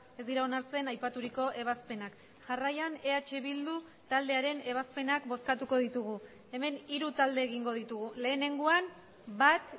ez dira onartzen aipaturiko ebazpenak jarraian eh bildu taldearen ebazpenak bozkatuko ditugu hemen hiru talde egingo ditugu lehenengoan bat